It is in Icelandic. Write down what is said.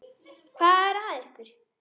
Hvað er að ykkur?